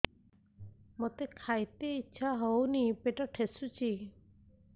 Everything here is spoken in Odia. ମୋତେ ଖାଇତେ ଇଚ୍ଛା ହଉନି ପେଟ ଠେସୁଛି